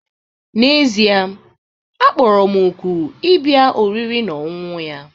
N'ezie, a kpọrọ m òkù ịbịa oriri na ọṅụṅụ ya